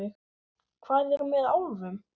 Hvað er með álfum?